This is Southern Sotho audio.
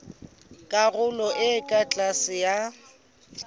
karolong e ka tlase ya